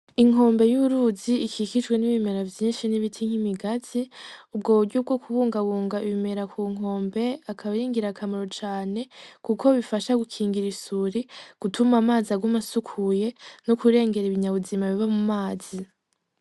Inkombe y'uruzi ikikijwe n'ibimera vyinshi, n'ibiti nk'ibigazi , ubwo buryo bwo kubungabunga ibimera k'unkombe akab'aringirakamaro cane kuko bifasha gukingira isuri gutum'amazi agum'asukuye no gukingira ibinyabuzima vyo mu mazi.